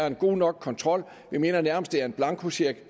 en god nok kontrol vi mener nærmest det er en blankocheck